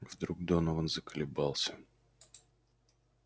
вдруг донован заколебался